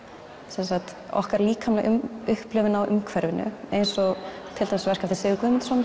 sem sagt okkar líkamlega upplifun á umhverfinu eins og til dæmis verk eftir Sigurð Guðmundsson